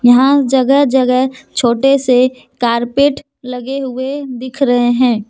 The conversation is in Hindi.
यहां जगह जगह छोटे से कारपेट लगे हुए दिख रहे हैं।